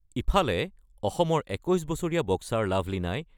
ইফালে, অসমৰ ২১ বছৰীয়া বক্সাৰ লাভলিনাই